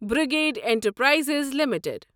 brigade enterprises limited